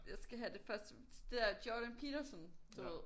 Jeg skal have det første det der Jordan Peterson du ved